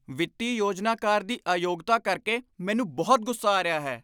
ਵਿੱਤੀ ਯੋਜਨਾਕਾਰ ਦੀ ਅਯੋਗਤਾ ਕਰਕੇ ਮੈਨੂੰ ਬਹੁਤ ਗੁੱਸਾ ਆ ਰਿਹਾ ਹੈ।